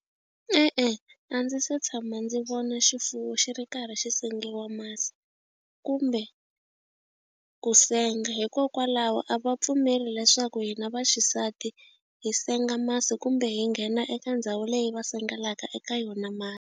E-e a ndzi se tshama ndzi vona xifuwo xi ri karhi xi sengiwa masi kumbe ku senga hikokwalaho a va pfumeli leswaku hina vaxisati hi senga masi kumbe hi nghena eka ndhawu leyi va sengelaka eka yona masi.